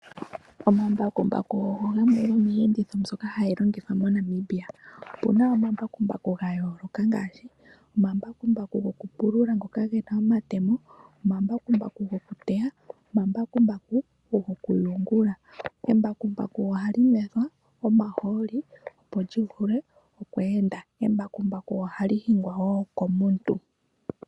Omambakumbaku ogo gamwe gomiiyenditho mbyoka hayi longithwa moNamibia. Opuna omambakumbaku ga yooloka ngaashi omambakumbaku gokupulula ngoka gena omatemo. Omambakumbaku gokuteya, omambakumbaku gokuyungula. Embakumbaku ohali nwetha omaholi opo lyi vule oku enda. Embakumbaku ohali hingwa wo komuntu.